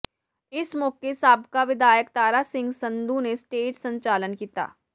ਇਸ ਮੌਕੇ ਸਾਬਕਾ ਵਿਧਾਇਕ ਤਾਰਾ ਸਿੰਘ ਸੰਧੂ ਨੇ ਸਟੇਜ ਸੰਚਾਲਨ ਕੀਤਾ